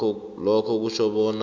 lokhuke kutjho bona